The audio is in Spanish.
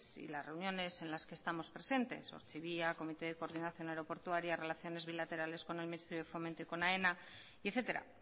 y las reuniones en las que estamos presentes ortzibia comité de coordinación aeroportuaria relaciones bilaterales con el ministerio de fomento y con aena y etcétera